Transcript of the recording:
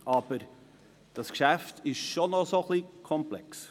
Dieses Geschäft ist aber schon komplex.